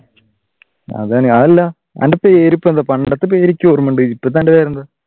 അതാണ് അതല്ല അന്റെ പേര് ഇപ്പൊ എന്താണ് പണ്ടത്തെ പേര് എനിക്ക് ഓർമ്മയുണ്ട് ഇപ്പഴത്തെ പേര് എന്താണ്?